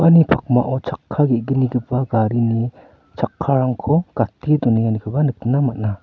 pakmao chakka ge·gnigipa garini chakkarangko gate donenganikoba nikna man·a.